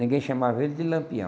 Ninguém chamava ele de Lampião.